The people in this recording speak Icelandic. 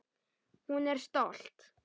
Hún er stolt.